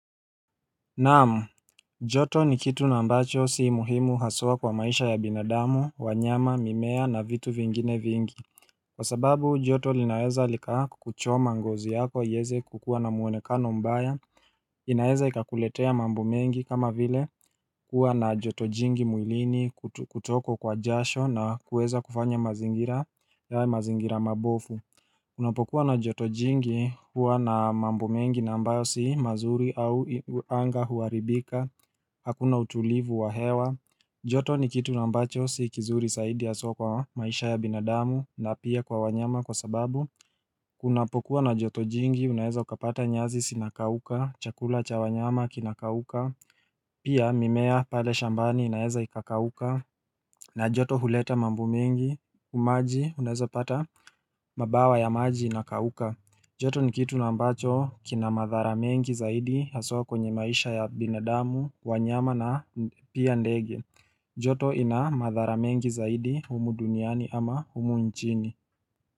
Naam joto ni kitu na ambacho sii muhimu haswa kwa maisha ya binadamu, wanyama, mimea na vitu vingine vingi Kwa sababu joto linaeza likakuchoma ngozi yako ieze kukua na mwonekano mbaya inaeza ikakuletea mambo mengi kama vile kuwa na joto jingi mwilini kutokwa kwa jasho na kuweza kufanya mazingira mabofu Unapokuwa na joto jingi huwa na mambo mengi na ambayo si mazuri au anga huaribika Hakuna utulivu wa hewa joto ni kitu na ambacho si kizuri saidi haswa kwa maisha ya binadamu na pia kwa wanyama kwa sababu kunapokuwa na joto jingi unaeza ukapata nyazi sinakauka Chakula cha wanyama kinakauka Pia mimea pale shambani inaeza ikakauka na joto huleta mambo mengi umaji unaeza pata mabawa ya maji inakauka joto ni kitu na ambacho kina madhara mengi zaidi haswa kwenye maisha ya binadamu, wanyama na pia ndege. Joto ina madhara mengi zaidi, humu duniani ama humu nchini.